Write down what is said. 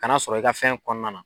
Ka na sɔrɔ i ka fɛn kɔnɔna na